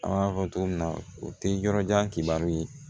An b'a fɔ cogo min na o tɛ yɔrɔ jan kibaruw ye